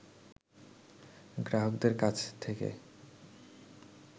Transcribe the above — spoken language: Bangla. গ্রাহকদের কাছ থেকে